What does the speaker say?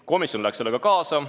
Komisjon läks sellega kaasa.